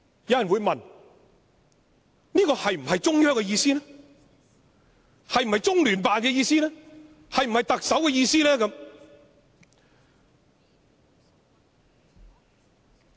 有人會問這次修訂是否中央、中聯辦或特首的意思？